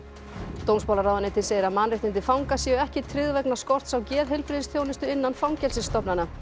dómsmálaráðuneytið segir að mannréttindi fanga séu ekki tryggð vegna skorts á geðheilbrigðisþjónustu innan fangelsisstofnana